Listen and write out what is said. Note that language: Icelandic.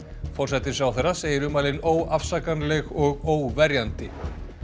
forsætisráðherra segir ummælin óafsakanleg og óverjandi